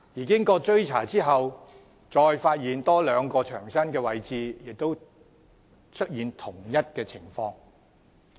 經過追查後，牆身再有多兩處位置被發現出現同一情況。